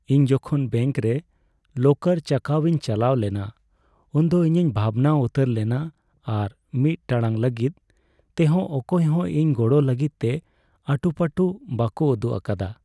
ᱤᱧ ᱡᱚᱠᱷᱚᱱ ᱵᱮᱝᱠ ᱨᱮ ᱞᱚᱠᱟᱨ ᱪᱟᱠᱟᱣ ᱤᱧ ᱪᱟᱞᱟᱣ ᱞᱮᱱᱟ ᱩᱱᱫᱚ ᱤᱧᱤᱧ ᱵᱷᱟᱵᱽᱱᱟ ᱩᱛᱟᱹᱨ ᱞᱮᱱᱟ ᱟᱨ ᱢᱤᱫ ᱴᱟᱲᱟᱝ ᱞᱟᱹᱜᱤᱫ ᱛᱮᱦᱚᱸ ᱚᱠᱚᱭ ᱦᱚᱸ ᱤᱧ ᱜᱚᱲᱚ ᱞᱟᱹᱜᱤᱫ ᱛᱮ ᱟᱴᱩᱼᱯᱟᱹᱴᱩ ᱵᱟᱠᱚ ᱩᱫᱩᱜ ᱟᱠᱟᱫᱟ ᱾